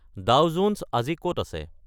Dao Jones আজি ক'ত আছে